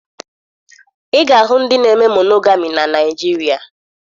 Ị ga-ahụ ndị na-eme monogami na Naịjirịa